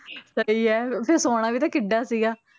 ਸਹੀ ਫਿਰ ਸੋਹਣਾ ਵੀ ਤਾਂ ਕਿੱਡਾ ਸੀਗਾ।